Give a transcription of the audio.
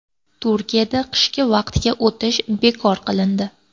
Turkiyada qishki vaqtga o‘tish bekor qilindi.